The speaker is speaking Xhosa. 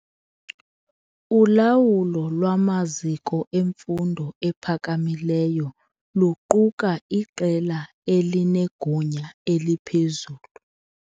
Ulawulo lwamaziko emfundo ephakamileyo luquka iqela elinegunya eliphezulu.